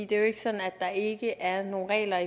det er jo ikke sådan at der ikke er nogen regler